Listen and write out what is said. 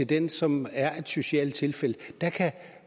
den som er et socialt tilfælde selv